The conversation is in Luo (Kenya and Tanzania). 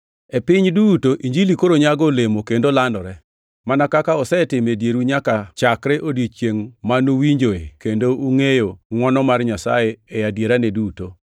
E piny duto Injilini koro nyago olemo kendo landore, mana kaka osetimo e dieru nyaka chakre odiechiengʼ ma nuwinjoe kendo ungʼeyo ngʼwono mar Nyasaye e adierane duto.